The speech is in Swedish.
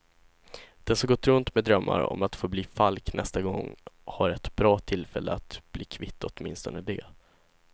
Den som gått runt med drömmar om att få bli falk nästa gång har ett bra tillfälle att bli kvitt åtminstone det.